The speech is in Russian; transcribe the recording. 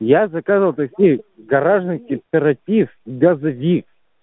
я заказывал такси в гаражный кооператив газовик